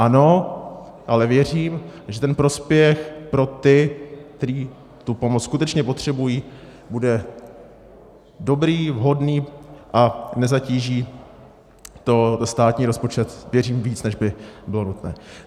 Ano, ale věřím, že ten prospěch pro ty, kteří tu pomoc skutečně potřebují, bude dobrý, vhodný a nezatíží to státní rozpočet, věřím, víc, než by bylo nutné.